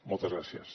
moltes gràcies